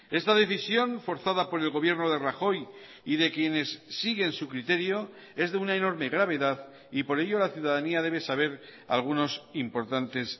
esta decisión forzada por el gobierno de rajoy y de quienes siguen su criterio es de una enorme gravedad y por ello la ciudadanía debe saber algunos importantes